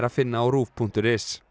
finna á RÚV punktur is